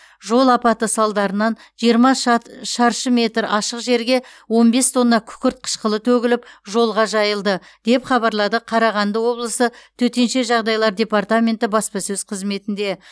жол апаты салдарынан жиырма шат шаршы метр ашық жерге он бес тонна күкірт қышқылы төгіліп жолға жайылды деп хабарлады қарағагды облысы төтенше жағдайлар департаменті баспасөз қызметінде